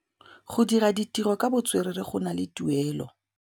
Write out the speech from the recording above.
Go dira ditirô ka botswerere go na le tuelô.